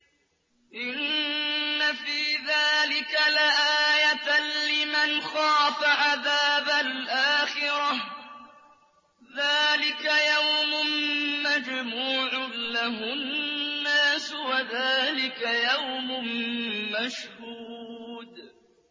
إِنَّ فِي ذَٰلِكَ لَآيَةً لِّمَنْ خَافَ عَذَابَ الْآخِرَةِ ۚ ذَٰلِكَ يَوْمٌ مَّجْمُوعٌ لَّهُ النَّاسُ وَذَٰلِكَ يَوْمٌ مَّشْهُودٌ